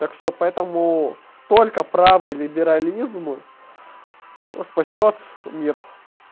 так что поэтому только правый либерализм спасёт мир